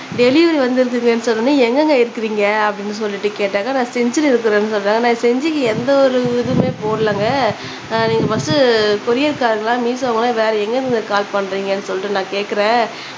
delivery வந்திருக்குங்கனு சொன்னோனே எங்கங்க இருக்குறிங்க அப்டினு சொல்லிட்டு கேட்டாக்கா நான் செஞ்சில இருக்கேனு சொல்றாரு நான் செஞ்சிக்கு எந்த ஒரு இதுவுமே போடலங்க நீங்க ஃபஸ்ட்டு கொரியர் கார்ரா மீஷோவா வேற எங்க இருந்துங்க கால் பண்றிங்கனு சொல்லிட்டு நான் கேக்குறேன்